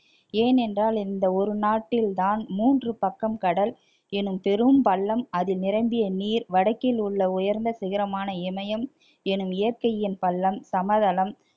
ஏனென்றால் இந்த ஒரு நாட்டில் தான் மூன்று பக்கம் கடல் எனும் பெரும் பள்ளம் அது நிரம்பிய நீர் வடக்கில் உள்ள உயர்ந்த சிகரமான இமயம் எனும் இயற்கையின் பள்ளம் சமதளம்